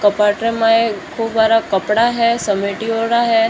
कप्बोर्ड का खूब सारा कपडा है समेटिड़ा है।